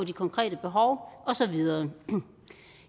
de konkrete behov og så videre